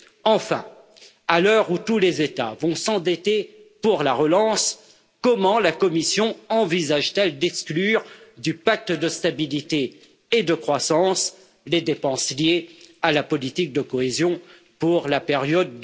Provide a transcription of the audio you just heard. Enfin, à l'heure où tous les États vont s'endetter pour la relance, comment la Commission envisage t elle d'exclure du pacte de stabilité et de croissance des dépenses liées à la politique de cohésion pour la période